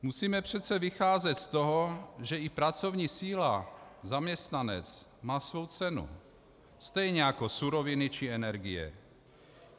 Musíme přece vycházet z toho, že i pracovní síla, zaměstnanec, má svou cenu stejně jako suroviny či energie.